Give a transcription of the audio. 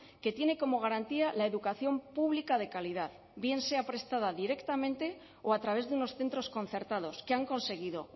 que tiene como garantía la educación pública de calidad bien sea prestada directamente o a través de unos centros concertados que han conseguido